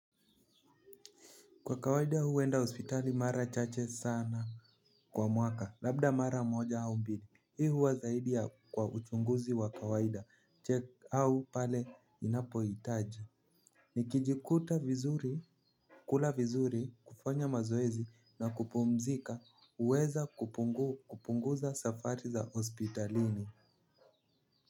Kwa kawaida huenda hospitali mara chache sana kwa mwaka, labda mara moja au mbili. Hii huwa zaidi ya kwa uchunguzi wa kawaida. Check au pale ninapo hitaji. Nikijikuta vizuri, kula vizuri, kufanya mazoezi na kupumzika huweza kupunguza safari za hospitalini.